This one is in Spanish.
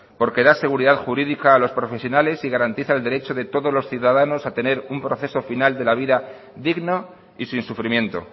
porque da seguridad jurídica a los profesionales y garantiza el derecho de todos los ciudadanos a tener un proceso final de la vida digna y sin sufrimiento